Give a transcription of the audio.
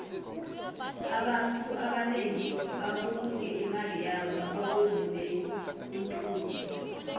abantfu abanengi babulunge imali yabo erhwebeni lenthuthi